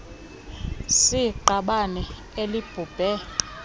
s iqabane elibhubhe